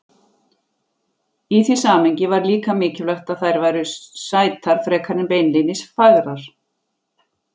Í því samhengi var líka mikilvægt að þær væru sætar frekar en beinlínis fagrar.